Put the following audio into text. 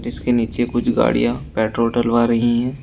उसके नीचे कुछ गाड़ियां पेट्रोल डलवा रही हैं।